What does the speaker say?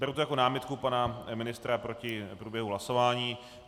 Beru to jako námitku pana ministra proti průběhu hlasování.